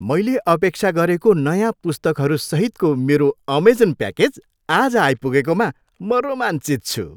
मैले अपेक्षा गरेको नयाँ पुस्तकहरू सहितको मेरो अमेजन प्याकेज आज आइपुगेकोमा म रोमाञ्चित छु।